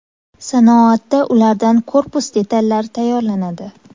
Sanoatda ulardan korpus detallari tayyorlanadi.